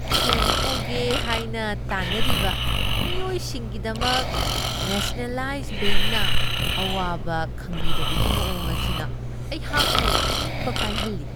ꯁꯦꯟ ꯄꯨꯒꯦ ꯍꯥꯏꯅ ꯇꯥꯅꯔꯤꯕ ꯃꯤꯑꯣꯏꯁꯤꯡꯒꯤꯗꯃꯛ ꯅꯦꯁꯅꯦꯂꯥꯏꯖ ꯕꯦꯡꯛꯅ ꯑꯋꯥꯕ ꯈꯪꯕꯤꯗꯕꯒꯤ ꯃꯋꯣꯡ ꯑꯁꯤꯅ ꯑꯩꯍꯥꯛꯄꯨ ꯅꯤꯡꯕ ꯀꯥꯏꯍꯜꯂꯤ ꯫